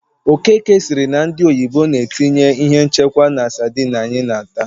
Okeke sịrị na ndị oyibo na-etinye ihe nchekwa na sadịn anyị na- ata.